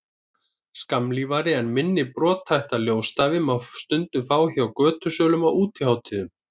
skammlífari en minna brothætta ljósstafi má stundum fá hjá götusölum á útihátíðum